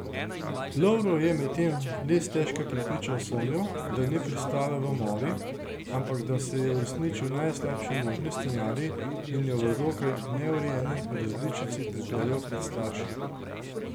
Lovro je medtem le stežka prepričal Sonjo, da ni pristala v mori, ampak da se je uresničil najslabši možni scenarij, in jo v dokaj neurejeni različici pripeljal pred starše.